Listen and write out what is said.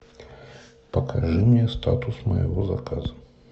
покажи мне статус моего заказа